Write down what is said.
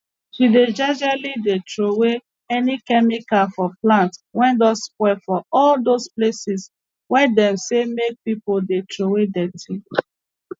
she dey jejely dey trowey any chemical for plants wey don spoil for all those places wey dem say make pipu dey trowey dirty